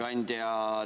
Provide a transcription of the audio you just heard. Hea ettekandja!